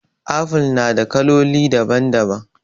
Apple na da kaloli daban daban